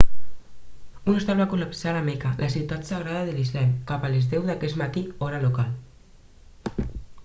un hostal va col·lapsar a la meca la ciutat sagrada de l'islam cap a les 10 d'aquest matí hora local